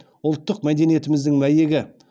ұлттық мәдениетіміздің мәйегі